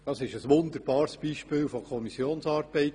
Das war ein wunderbares Beispiel von Kommissionsarbeit.